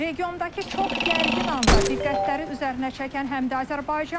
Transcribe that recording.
Regiondakı çox gərgin anda diqqətləri üzərinə çəkən həm də Azərbaycandır.